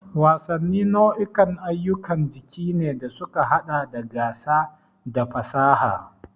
Wasanni nau'ikan ayyukan jiki ne da suka haɗa da gasa da fasaha.